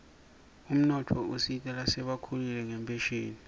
umnotfo usita lasebakhulile ngenphesheni